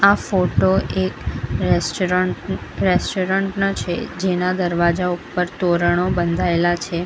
આ ફોટો એક restaurant restaurant નો છે જેના દરવાજા ઉપર તોરણો બંધાયેલા છે.